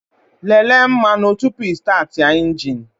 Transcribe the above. Lelee mmanụ tupu ịstaatị a injin!